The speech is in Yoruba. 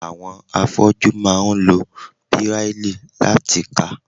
Àwọn afọ́jú máa ń lo Bíráílì láti kà.